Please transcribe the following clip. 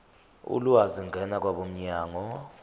ulwazi ngena kwabomnyango